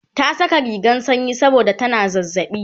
ta Saka rigan sanyi saboda tana zazzaɓi